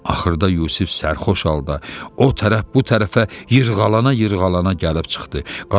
Axırda Yusif sərxoş halda, o tərəf bu tərəfə yırğalana-yırğalana gəlib çıxdı.